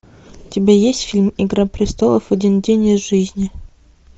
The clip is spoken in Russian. у тебя есть фильм игра престолов один день из жизни